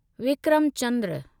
Vikram Chandra